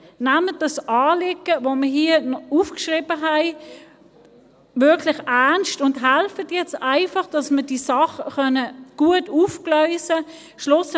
Nehmt das Anliegen, das wir hier aufgeschrieben haben, wirklich ernst und helft jetzt einfach, dass wir diese Sache gut aufgleisen können.